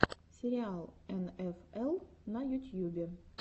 сериал эн эф эл на ютьюбе